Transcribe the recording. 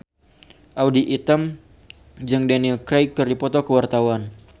Audy Item jeung Daniel Craig keur dipoto ku wartawan